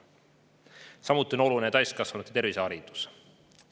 Samuti on oluline täiskasvanute terviseharidus.